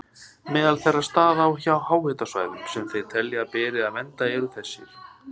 Meðal þeirra staða á háhitasvæðum sem þeir telja að beri að vernda eru þessir